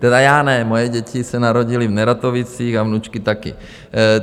Tedy já ne, moje děti se narodily v Neratovicích a vnučky taky.